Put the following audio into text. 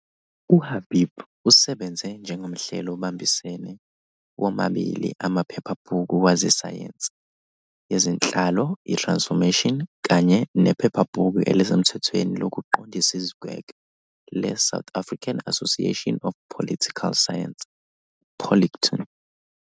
UHabib usebenze njengomhleli obambisene womabili amaphephabhuku wezesayensi yezenhlalo iTransformation kanye nephephabhuku elisemthethweni lokuqondisa izigwegwe leSouth African Association of Political Science, Politkon.